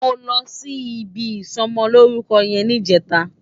Mó lòsí ibi isòmòlórúkò yèn nijètá